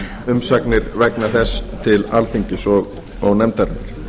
umsagnir vegna þess til alþingis og nefndarinnar